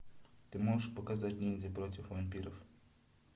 ты можешь показать ниндзя против вампиров